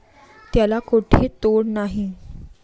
त्याले कुठे तोड नाही।